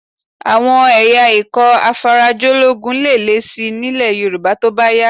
Iye àwọn ikọ̀ afarajológun lè lé síi nílẹ̀ Yorùbá tó bá yá